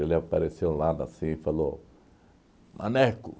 Ele apareceu um lado assim e falou... Maneco!